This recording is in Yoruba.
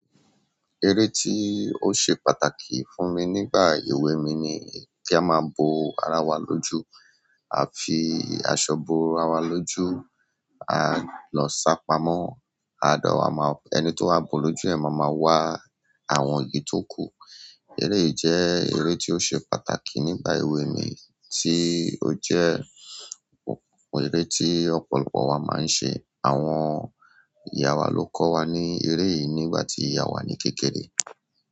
Eré tí ó ṣe pàtàkì fún mi nígbà èwe mi ni kí a máa bo ara wa lójú. A fi aṣọ bo ara wa lójú, á lọ sá pamọ́, a de wa ma, ẹni to wá bo lójú yẹ̀n máa ma wá àwọn eyì tóku. Eré yìí jẹ́ eré tí ó ṣe pàtàkì nígbà èwe mi tí ó jẹ́ eré tí ọ̀pọ̀lọpọ̀ wa máa ń ṣe. Àwọn ìyá wa ló kọ́ wa ní eré yìí nígbà tí ìyá wa ní kékeré.